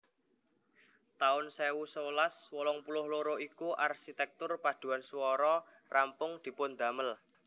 taun sewu sewelas wolung puluh loro iku arsitektur paduan swara rampung dipundamel